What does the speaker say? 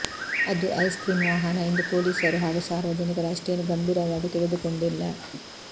ಅದು ಐಸ್ಕ್ರೀಂ ವಾಹನ ಎಂದು ಪೊಲೀಸರು ಹಾಗೂ ಸಾರ್ವಜನಿಕರು ಅಷ್ಟೇನು ಗಂಭೀರವಾಗಿ ತೆಗೆದುಕೊಂಡಿಲ್ಲ